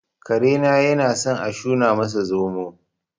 Karena yanasan a shuna masa zomo